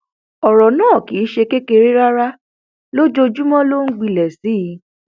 ọrọ náà kì í ṣe kékeré rárá lójoojúmọ ló sì ń gbilẹ sí i